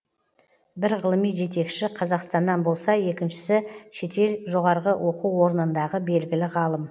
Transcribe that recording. бір ғылыми жетекші қазақстаннан болса екіншісі шетел жоғары оқу орнындағы белгілі ғалым